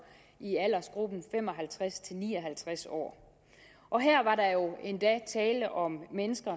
i aldersgruppen fem og halvtreds til ni og halvtreds år og her var der jo endda tale om mennesker